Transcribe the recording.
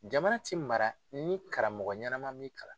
Jamana ti mara ni karamɔgɔ ɲɛnama m'i kalan.